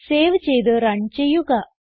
save ചെയ്ത് run ചെയ്യുക